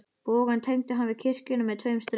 Bogann tengdi hann við kirkjuna með tveim strikum.